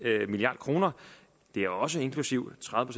milliard kroner det er også inklusive tredive